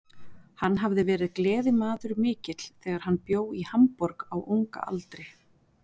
Hann hafði verið gleðimaður mikill þegar hann bjó í Hamborg á unga aldri.